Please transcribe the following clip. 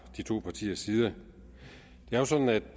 de to partiers side det er sådan